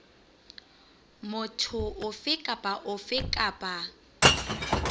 motho ofe kapa ofe kapa